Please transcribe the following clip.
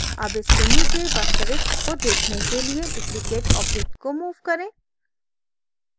अब इसके नीचे वास्तविक को देखने के लिए duplicated object को move करें